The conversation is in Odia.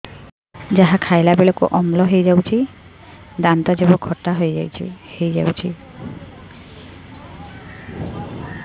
ଯାହା ଖାଇଲା ବେଳକୁ ଅମ୍ଳ ହେଇଯାଉଛି ଦାନ୍ତ ଜିଭ ଖଟା ହେଇଯାଉଛି